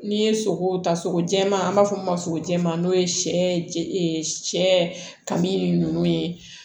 N'i ye sogo ta sogo jɛma an b'a fɔ min ma sogo jɛman n'o ye sɛ kaminini nunnu ye